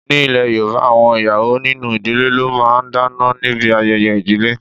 Ní ilè Yorùbá, àwọn ìyàwó nínú ìdílé ló máa ń dáná níbi ayẹyẹ ìdílé.